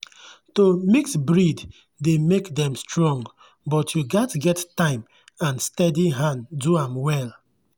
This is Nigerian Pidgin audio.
to mix breed dey make dem strong but you gats get time and steady hand do am well.